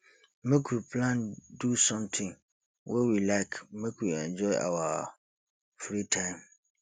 make we plan do sometin wey we like make we enjoy our free time